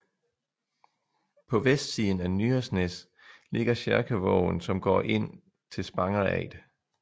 På vestsiden af Nyresnes ligger Kjerkevågen som går ind til Spangereid